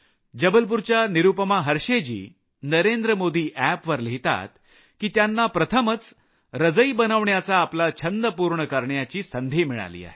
जबलपूरच्या निरूपमा हर्षेय जी Narendra Modi app वर लिहितात की त्यांना प्रथम रजई बनवण्याचा आपला छंद पूर्ण करण्याची संधी मिळाली